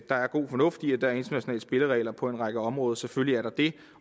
der er god fornuft i at der er internationale spilleregler på en række område selvfølgelig er der det